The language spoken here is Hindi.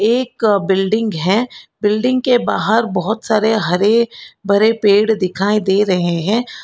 एक बिल्डिंग है बिल्डिंग के बाहर बहोत सारे हरे भरे पेड़ दिखाई दे रहे हैं।